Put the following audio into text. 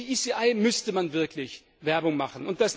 Für die ECI müsste man wirklich Werbung machen.